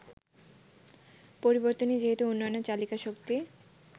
পরিবর্তনই যেহেতু উন্নয়নের চালিকাশক্তি